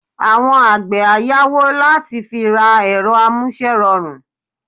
Àwọn àgbẹ̀ á yáwó láti fi ra ẹ̀rọ amúṣẹ́rọrùn